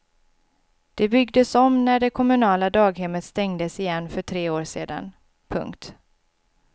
Det byggdes om när det kommunala daghemmet stängdes igen för tre år sedan. punkt